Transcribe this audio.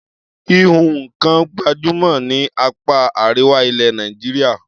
Híhun nǹkan gbàjúmọ̀ ní apá Àríwá ilẹ̀ Nàìjíríà.